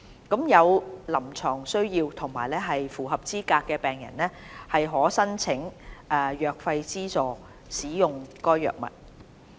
有臨床需要及符合資格的病人可申請藥費資助使用該藥物。